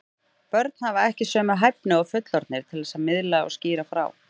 Börn hafa ekki sömu hæfni og fullorðnir til að miðla og skýra frá.